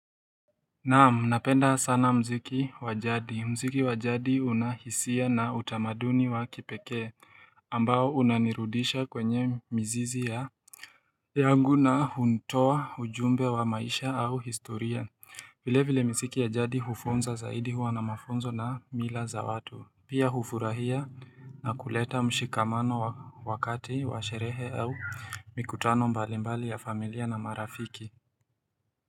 Naam, napenda sana mziki wa jadi mziki wa jadi unahisia na utamaduni wa kipekee ambao unanirudisha kwenye mizizi yangu na hunitoa ujumbe wa maisha au historia vile vile miziki ya jadi hufunza zaidi huwa na mafunzo na mila za watu Pia hufurahia na kuleta mshikamano wakati wa sherehe au mikutano mbalimbali ya familia na marafiki.